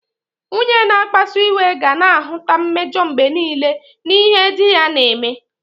Nwunye na-akpasu iwe ga na-ahụta mmejọ mgbe nile n'ihe di ya na-eme.